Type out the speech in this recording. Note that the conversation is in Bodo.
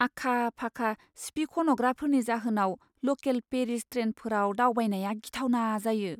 आखा फाखा सिफिखन'ग्राफोरनि जाहोनाव लकेल पेरिस ट्रेनफोराव दावबायनाया गिथावना जायो।